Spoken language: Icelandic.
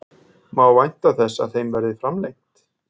Má vænta þess að þeim verði framlengt?